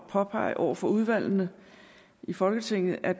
påpege over for udvalgene i folketinget at